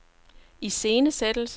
iscenesættelse